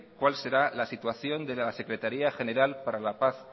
cuál será la situación de la secretaría general para la paz